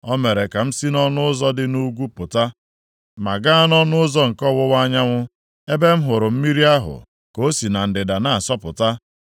O mere ka m si nʼọnụ ụzọ dị nʼugwu pụta, ma gaa nʼọnụ ụzọ nke ọwụwa anyanwụ, ebe m hụrụ mmiri ahụ ka o si na ndịda na-asọpụta.